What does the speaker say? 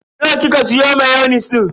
Nawa kika siya mayonis din?